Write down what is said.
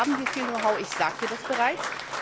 Da haben wir viel Know how, das sagte ich bereits.